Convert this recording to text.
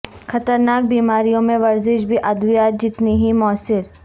خطرناک بیماریوں میں ورزش بھی ادویات جتنی ہی موثر